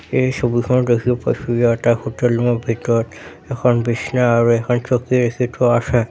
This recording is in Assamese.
এই ছবিখনত দেখি পাইছোঁ যে এটা হোটেল ৰুম ৰ ভিতৰত এখন বিছনা আৰু এখন চকী ৰাখি থোৱা আছে।